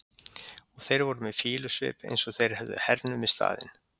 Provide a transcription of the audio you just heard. Og þeir voru með fýlusvip eins og þeir hefðu hernumið staðinn.